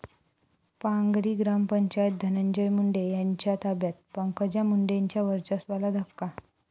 पांगरी ग्रामपंचायत धनंजय मुंडे यांच्या ताब्यात, पंकजा मुंडेंच्या वर्चस्वाला धक्का